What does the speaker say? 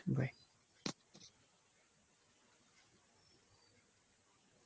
bye.